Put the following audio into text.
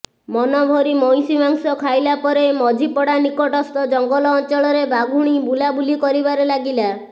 ମନଭରି ମଇଁଶୀ ମାଂସ ଖାଇଲା ପରେ ମଝିପଡ଼ା ନିକଟସ୍ଥ ଜଙ୍ଗଲ ଅଞ୍ଚଳରେ ବାଘୁଣୀ ବୁଲାବୁଲି କରିବାରେ ଲାଗିଲା